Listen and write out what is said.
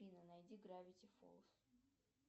афина найди гравити фолз